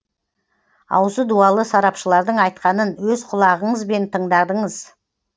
аузы дуалы сарапшылардың айтқанын өз құлағыңызбен тыңдадыңыз